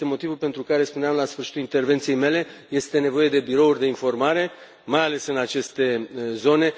Este motivul pentru care spuneam, la sfârșitul intervenției mele, că este nevoie de birouri de informare, mai ales în aceste zone.